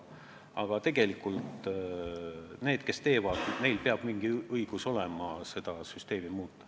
Nendel, kes tegelikult asjaga tegelevad, peab olema mingi õigus seda süsteemi muuta.